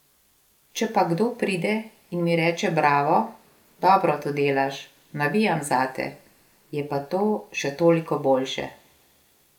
Če pa kdo pride in mi reče bravo, dobro to delaš, navijam zate, je pa to še toliko boljše.